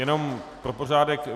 Jenom pro pořádek.